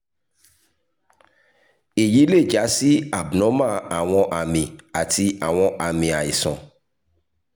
eyi le ja si abnormal awọn ami ati awọn aami aisan